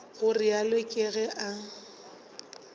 go realo ke ge a